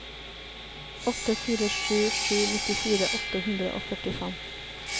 åtte fire sju sju nittifire åtte hundre og førtifem